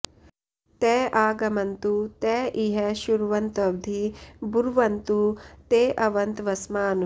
त आ ग॑मन्तु॒ त इ॒ह श्रु॑व॒न्त्वधि॑ ब्रुवन्तु॒ ते अ॑वन्त्व॒स्मान्